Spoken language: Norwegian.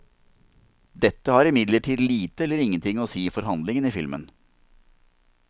Dette har imidlertid lite eller ingenting å si for handlingen i filmen.